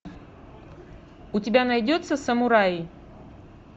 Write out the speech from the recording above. у тебя найдется самураи